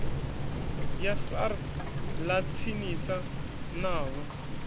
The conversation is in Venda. ya sars ḽa tsinisa navho